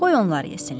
Qoy onlar yesinlər.